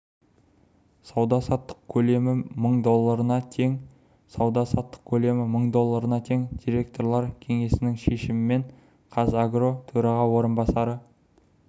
сауда-саттық көлемі мың долларына тең сауда-саттық көлемі мың долларына тең директорлар кеңесінің шешімімен қазагро төраға орынбасары